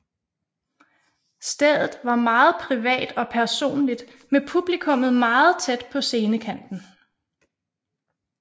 Stedet var meget privat og personligt med publikummet meget tæt på scenekanten